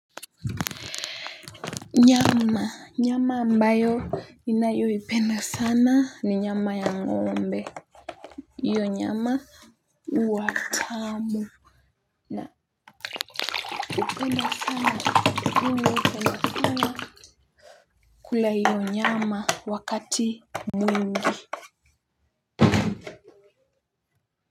Nyama ambayo ninayoipenda sana ni nyama ya ng'ombe. Iyo nyama huwa tamu. Naupenda sana kula iyo nyama wakati mwingi.